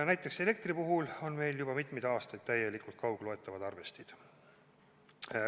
Näiteks on elektri puhul meil juba mitmeid aastaid täielikult kaugloetavad arvestid.